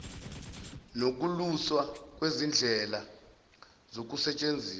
nokuluswa kwezindlela zokusetshenziswa